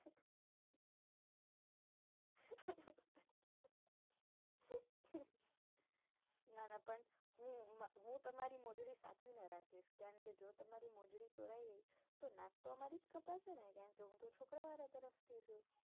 ના ના પણ હું તમારી મોજડી સાચવીને રાખીશ કારણ કે જો તમારી મોજડી ચોરાય ગઈ તો નાક તો અમારું જ કપાશે ને કેમ કે હું તો છોકરાં વાળા તરફથી છુ